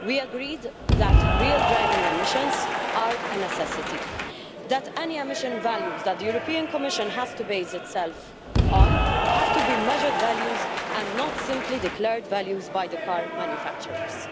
We agreed that real driving emissions are a necessity, and that any emission values that the European Commission bases itself on have to be measured values and not simply values declared by the car manufacturers.